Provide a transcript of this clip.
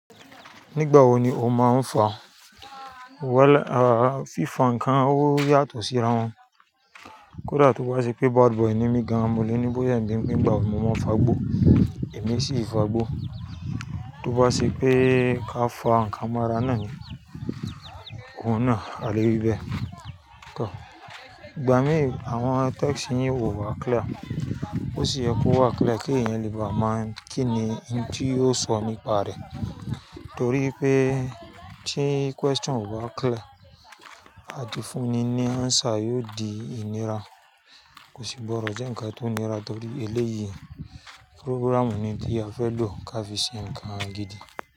Nígbà wo ni o máa ń fa? Fífa nǹkan ó yàtọ̀ síra wọn. Kódà tó bá ṣe pé bad boy ni mí gan-an, mo lè ní bóyá ni nígbà wo mo máa ń fagbó, èmi sì fagbó. Tó bá ṣe pé ká fa nǹkan mọ́ ara náà ni, òun náà á lo ibẹ̀. Kọ́, gbà mí, àwọn text yín ò wá clear. Ó sì yẹ kó wá clear kí ẹ̀yan lè bá mọ̀ kí ni ohun tí yóò sọ nípa rẹ̀. Nítorí pé tí question ò ba clear, àtìfúnni ní answer yóò di ìnira. Kò sí gbọ́dọ jẹ́ nǹkan tó nira torí eléyìí program ni tí a fẹ́ lò ká fi ṣe nǹkan gidi.